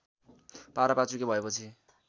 पारपाचुके भएपछि